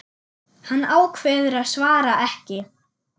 Hann ákveður að svara ekki.